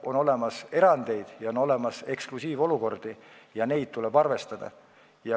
On olemas erandeid, on olemas eksklusiivolukordi ja nendega tuleb arvestada.